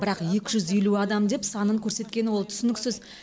бірақ екі жүз елу адам деп санын көрсеткені ол түсініксіз